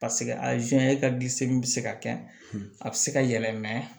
Paseke a bɛ se ka kɛ a bɛ se ka yɛlɛ